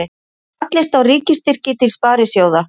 Fallist á ríkisstyrki til sparisjóða